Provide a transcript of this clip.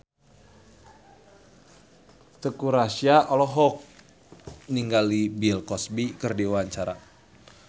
Teuku Rassya olohok ningali Bill Cosby keur diwawancara